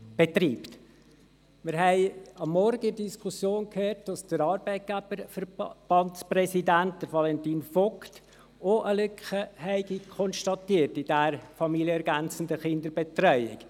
In der Diskussion vom Morgen haben wir gehört, der Präsident des Schweizerischen Arbeitgeberverbands (SAV), Valentin Vogt, habe bei der familienergänzenden Kinderbetreuung ebenfalls eine Lücke konstatiert.